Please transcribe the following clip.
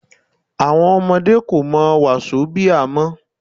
Àwọn ọmọdé kò mọ Wásóbià mọ́